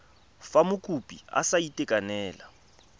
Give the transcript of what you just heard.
fa mokopi a sa itekanela